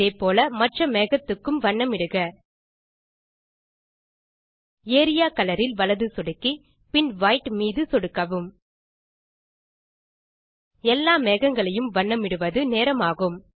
இதே போல மற்ற மேகத்துக்கும் வண்ணமிடுக ஏரியா கலர் இல் வலது சொடுக்கி பின் வைட் மீது சொடுக்கவும் எல்லா மேகங்களையும் வண்ணமிடுவது நேரமாகும்